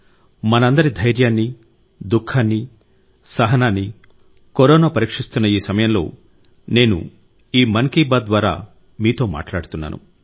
మనందరి ధైర్యాన్ని దుఃఖాన్ని సహనాన్ని కరోనా పరీక్షిస్తున్న ఈ సమయంలో నేను ఈ మన్ కీ బాత్ ద్వారా మీతో మాట్లాడుతున్నాను